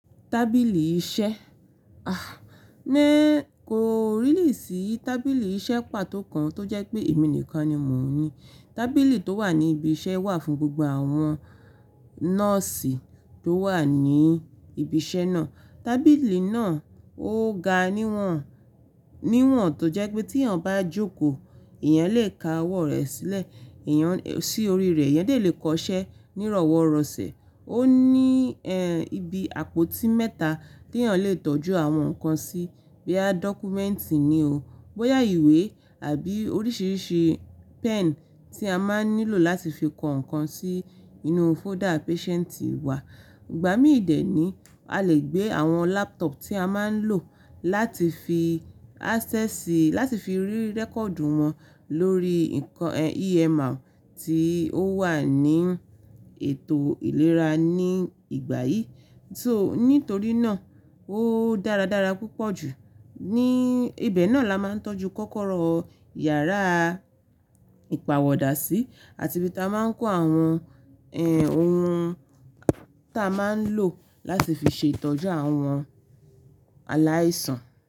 Tábìlì iṣẹ́.ah ni iii kò rílí sì tábìlì iṣẹ́ pàtó kan tó jẹ́ pé èmi nìkan ni mò ń ní. Tábìlì tó wà ní ibi iṣẹ́ wà fún gbogbo àwọn nọ́ọ́sì tó wà ní ibi iṣẹ́ náà. Tábìlì náà ó ga níwọ̀n, níwọ̀n tó jẹ́ pé tí èèyàn bá jókòó, èèyàn lè ka ọwọ́ rẹ̀ sílẹ̀, èèyàn eh sí orí rẹ̀, èèyàn lè kọ ṣẹ́ nírọ̀wọ́ rọ̀sẹ o. Ó ní, ẹ́, ibi àpótí mẹ́ta tí èèyàn lè tọ́jú àwọn nǹkan sí, bíya, dọ́kúmẹ́ǹtì ni o, bóyá ìwé àbí oríṣìíríṣìí pen tí a máa ń nílò láti fi kọ ǹkan sí inú fóda páṣẹ́ǹtì wa. Ìgbà mí dẹ ní, a lè gbé àwọn laptop tí a máa ń lò láti fi àsẹ́sì, láti fi rí rẹ́kọ̀dù wọn lórí nǹkan, ẹ́, EMR tí ó wà ní ètò ìlera ní ìgbà yìí. Só, nítorí náà ó dáradára púpọ̀ jù. Ní ibẹ̀ náà la máa ń tọ́jú kọ́kọ́rọ́ yàrá ìpààwọ̀dà sí àti bí ta máa ń kó àwọn, ẹ́, ohun ta máa ń lò láti fi ṣe ìtọ́jú àwọn aláìsàn.